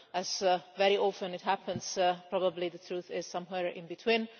As very often happens, probably the truth is somewhere in between.